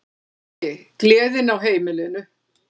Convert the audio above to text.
Pési, gleðin á heimilinu.